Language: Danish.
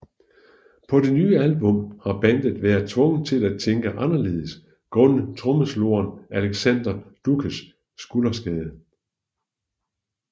På det nye album har bandet været tvunget til at tænke anderledes grundet trommeslageren Alexander Dutschkes skulderskade